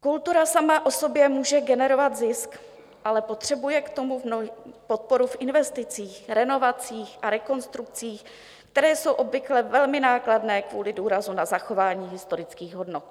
Kultura sama o sobě může generovat zisk, ale potřebuje k tomu podporu v investicích, renovacích a rekonstrukcích, které jsou obvykle velmi nákladné kvůli důrazu na zachování historických hodnot.